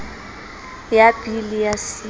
ya b le ya c